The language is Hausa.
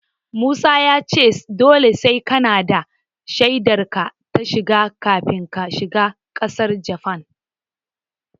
Musa ya ce dole sai kanada da shaidar ka ta shiga kafin ka shiga ƙasar Japan.